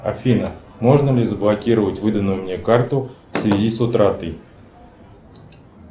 афина можно ли заблокировать выданную мне карту в связи с утратой